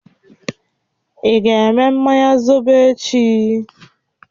Ị ga-eme mmanya zobo echi?